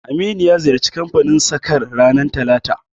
Aminu ya ziyarci kanfanin sakar ranar talata